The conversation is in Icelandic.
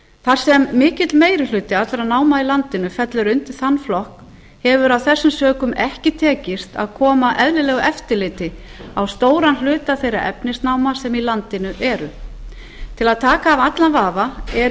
þar sem mikill meiri hluti allra náma í landinu fellur þann flokk hefur af þessum sökum ekki tekist að koma eðlilegu eftirliti á stóran hluta þeirra efnisnáma sem í landinu eru til að taka af allan vafa er í